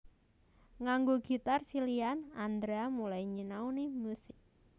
Nganggo gitar silihan Andra mulai nyinauni musik